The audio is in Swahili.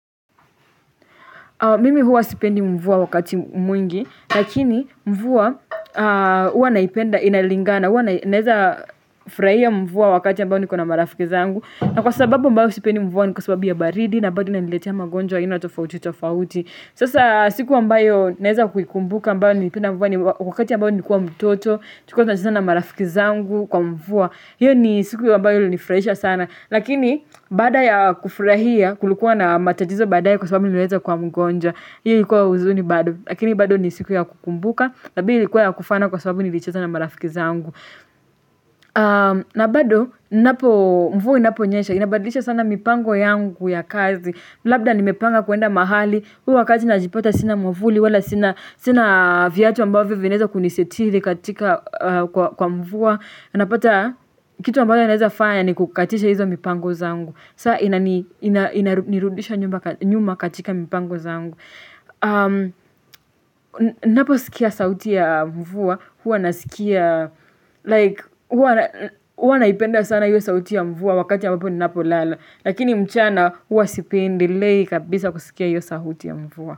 Mimi huwa sipendi mvua wakati mwingi, lakini mvua huwa naipenda inalinga na huwa naeza furahia mvua wakati ambao nikuwa na marafiki zangu. Na kwa sababu ambao sipendi mvua ni kwa sababu ya baridi na bado inaniletea magonjwa ya aina tofauti tofauti. Sasa siku ambayo naeza kuikumbuka ambayo nilipenda mvua ni wakati ambao nilikua mtoto, tulikua tunacheza na marafiki zangu kwa mvua. Hiyo ni siku ya mbayo ilinifurahisha sana Lakini baada ya kufarahia Kulikua na matatizo baadaye kwa sababu niliweza kuwa mgonjwa hiyo ilikuwa huzuni bado Lakini bado ni siku yakukumbuka na mbili ilikua ya kufana kwa sababu nilicheza na marafiki zangu na bado inapo mvua inaponyesha inabadisha sana mipango yangu ya kazi Labda nimepanga kuenda mahali Huwa kazi najipota sina mwavuli wala sina viatu ambavyo vinaweza kunisetiri katika kwa kwa mvua anapata kitu ambayo inaeza fanya ni kukatisha hizo mipango zangu saa ina ina ina nirudisha nyumba nyuma katika mipango zangu Naposikia sauti ya mvua Huwa nasikia like huwa huwa naipenda sana hiyo sauti ya mvua wakati ya ambapo ninapo lala Lakini mchana huwa sipendilei kabisa kusikia hiyo sauti ya mvua.